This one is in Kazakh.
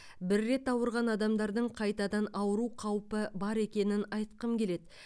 бір рет ауырған адамдардың қайтадан ауыру қаупі бар екенін айтқым келеді